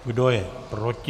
Kdo je proti?